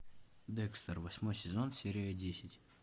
декстер восьмой сезон серия десять